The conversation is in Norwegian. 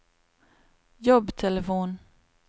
jobbtelefon